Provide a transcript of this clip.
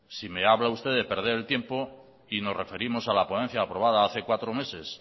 si me habla usted de perder el tiempo y nos referimos a la ponencia aprobada hace cuatro meses